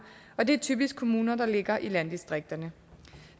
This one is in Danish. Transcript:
og det er typisk de kommuner der ligger i landdistrikterne